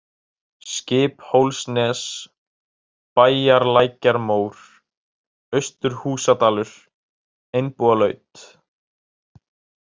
Skiphólsnes, Bæjarlækjarmór, Austur-Húsadalur, Einbúalaut